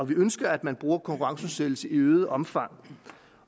vi ønsker at man bruger konkurrenceudsættelse i øget omfang